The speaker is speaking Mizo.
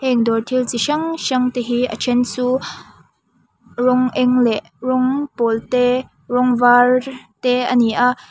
heng dawr thil chi hrang hrang te hi a then chu rawng eng leh rawng pawl te rawng var te a ni a.